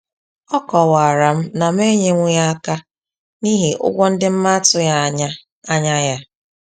A kọwara m na m enyewughi aka n'ihi ụgwọ ndị m atughi anya anya ya